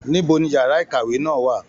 Níbo ní yàrá ìkàwé náà wà?